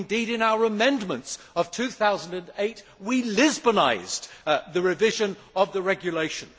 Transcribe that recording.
Indeed, in our amendments of 2008, we Lisbonised the revision of the regulation.